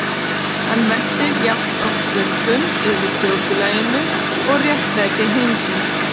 Hann veltir jafnoft vöngum yfir þjóðfélaginu og réttlæti heimsins.